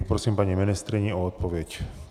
Poprosím paní ministryni o odpověď.